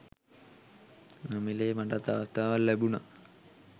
නොමිලේ මටත් අවස්ථාවක් ලැබුනා.